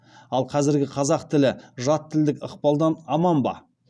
ал қазіргі қазақ тілі жат тілдік ықпалдан аман ба